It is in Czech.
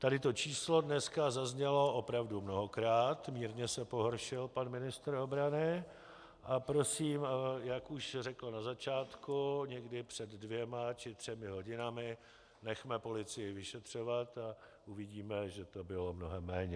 Tady to číslo dneska zaznělo opravdu mnohokrát, mírně se pohoršil pan ministr obrany, a prosím, jak už řekl na začátku někdy před dvěma či třemi hodinami, nechme policii vyšetřovat a uvidíme, že to bylo mnohem méně.